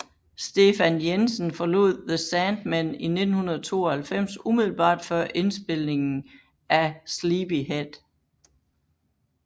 Stefan Jensen forlod The Sandmen i 1992 umiddelbart før indspilningen af Sleepyhead